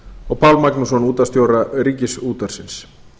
og pál magnússon útvarpsstjóra ríkisútvarpsins